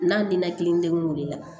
N'a ninakili degun de la